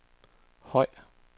høj